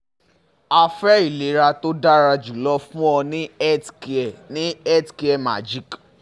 a fe ilera to dara julo fun o ni healthcare ni healthcare magic